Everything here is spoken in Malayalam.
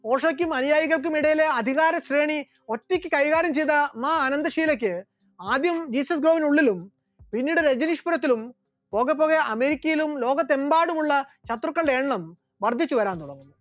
ഓഷോയ്ക്കും അനുയായികൾക്കും ഇടയിലെ അധികാര ശ്രേണി ഒറ്റക്ക് കൈകാര്യം ചെയ്ത ആ അനന്തഷീലയ്ക്ക് ആദ്യം ജീസസ് ഗ്രോയുടെ ഉള്ളിലും പിന്നീട് രജനീഷ്‌പുരത്തിലും പോക പോകെ അമേരിക്കയിലും ലോകത്ത് എമ്പാടുമുള്ള ശത്രുക്കളുടെ എണ്ണം വർദ്ധിച്ചുവരാൻ തുടങ്ങി.